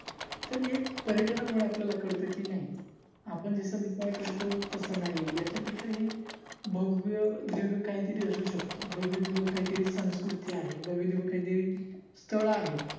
तर एक पर्यटनामुळे आपल्याला कळत कि, नाही आपण जस विचार करतो तस नाही आहे याच्यापेक्षा हि भव्य दिव्य काहीतरी असू शकत, भव्य दिव्यकाहीतरी संस्कृती आहे, भव्य दिव्य काहीतरी स्थळ आहेत.